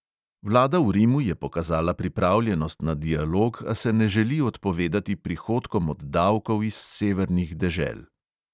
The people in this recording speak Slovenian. Vlada v rimu je pokazala pripravljenost na dialog, a se ne želi odpovedati prihodkom od davkov iz severnih dežel.